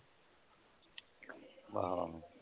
ਆਹੋ